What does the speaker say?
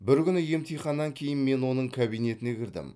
бір күні емтиханнан кейін мен оның кабинетіне кірдім